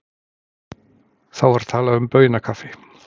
Þá var talað um baunakaffi.